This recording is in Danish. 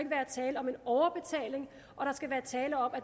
tale om en overbetaling og der skal være tale om at